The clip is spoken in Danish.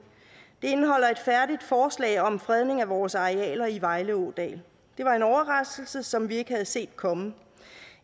det indeholder et færdigt forslag om fredning af vores arealer i vejle ådal det var en overraskelse som vi ikke havde set komme